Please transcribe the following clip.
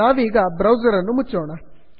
ನಾವೀಗ ಬ್ರೌಸರನ್ನು ಮುಚ್ಚೋಣ